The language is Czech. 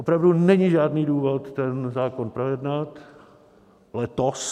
Opravdu není žádný důvod ten zákon projednat letos.